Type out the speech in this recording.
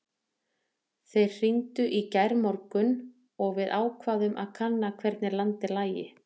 Þeir hringdu í gærmorgun og við ákváðum að kanna hvernig landið lægi.